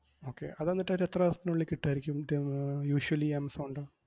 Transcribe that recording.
Okay അതെന്നിട്ട് ഒരു എത്ര ദിവസത്തിനുള്ളിൽ കിട്ടുവായിരിക്കും ഏർ usually ആമസോണിൻറെ.